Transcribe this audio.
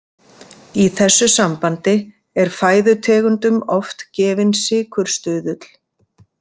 Í þessu sambandi er fæðutegundum oft gefinn sykurstuðull.